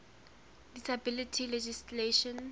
disability legislation